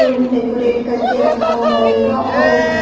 room decorate करके रखा हुआ होगा और यहां--